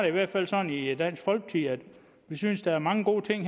i hvert fald sådan i dansk folkeparti at vi synes der er mange gode ting